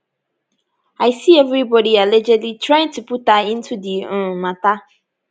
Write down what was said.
i see evribodiallegedlytrying to put her in to di um mata